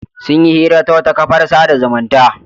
Sun yi hira ta wata kafar kafar sada zumunta.